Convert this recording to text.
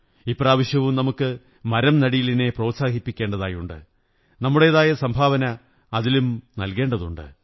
ഇപ്രാവശ്യവും നമുക്ക് മരംനടീലിനെ പ്രോത്സാഹിപ്പിക്കേണ്ടതുണ്ട് നമ്മുടേതായ സംഭാവന അതിലും നല്കേണ്ടതുണ്ട്